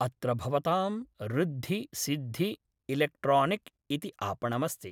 अत्र भवतां ऋद्धि सिद्धि इलेक्ट्रोनिक् इति आपणमस्ति